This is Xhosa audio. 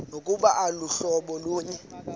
nokuba aluhlobo lunye